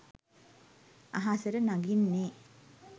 අහසට නඟින්නේ